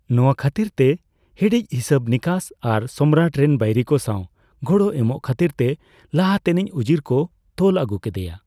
ᱱᱚᱣᱟ ᱠᱷᱟᱹᱛᱤᱨ ᱛᱮ ᱦᱤᱲᱤᱡ ᱦᱤᱥᱟᱹᱵᱼᱱᱤᱠᱟᱹᱥ ᱟᱨ ᱥᱚᱢᱨᱟᱴ ᱨᱮᱱ ᱵᱟᱹᱭᱨᱤ ᱠᱚ ᱥᱟᱣ ᱜᱚᱲᱚ ᱮᱢᱚᱜ ᱠᱷᱟᱹᱛᱤᱨ ᱛᱮ ᱞᱟᱦᱟᱛᱮᱱᱤᱡ ᱩᱡᱤᱨ ᱠᱚ ᱛᱚᱞᱟᱜᱩ ᱠᱮᱫᱮᱭᱟ ᱾